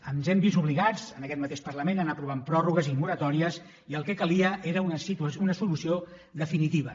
ens hem vist obligats en aquest mateix parlament a anar aprovant pròrrogues i moratòries i el que hi calia era una solució definitiva